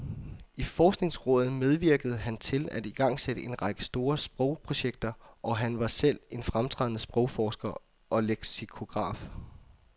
I forskningsrådet medvirkede han til at igangsætte en række store sprogprojekter, og han var selv en fremtrædende sprogforsker og leksikograf.